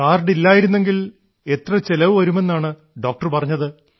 card ഇല്ലായിരുന്നെങ്കിൽ എത്ര ചെലവ് വരുമെന്നാണ് ഡോക്ടർ പറഞ്ഞത്